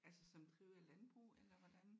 Altså som driver landbrug eller hvordan?